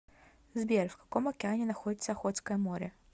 сбер в каком океане находится охотское море